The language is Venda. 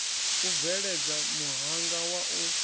u bveledza muhanga wa u